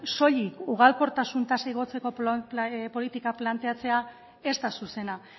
soilik ugalkortasun tasa igotzeko politika planteatzea ez da zuzena